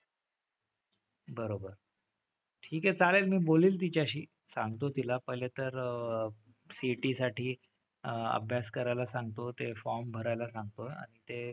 बरोबर. ठीक आहे चालेल मी बोलेल तिच्याशी. सांगतो तिला पहिले तर CET साठी अह अभ्यास करायला सांगतो. ते form भरायला सांगतो आणि ते,